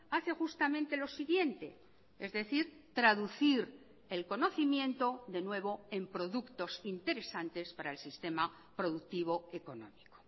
hace justamente lo siguiente es decir traducir el conocimiento de nuevo en productos interesantes para el sistema productivo económico